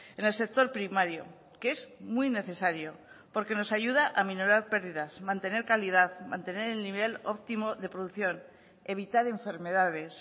en el sector primario que es muy necesario porque nos ayuda a minorar pérdidas mantener calidad mantener el nivel óptimo de producción evitar enfermedades